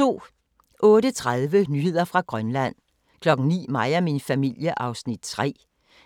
08:30: Nyheder fra Grønland 09:00: Mig og min familie (3:61)